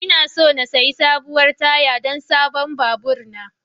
Ina so in sayi sabuwar taya don sabon babur na.